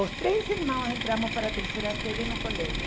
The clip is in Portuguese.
Os três irmãos entramos para a terceira série no colégio.